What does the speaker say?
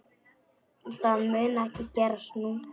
Það mun ekki gerast nú.